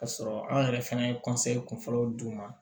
K'a sɔrɔ an yɛrɛ fana ye kunfɔlɔw d'u ma